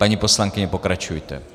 Paní poslankyně, pokračujte.